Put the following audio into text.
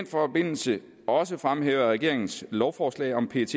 forbindelse også fremhæve at regeringens lovforslag om pet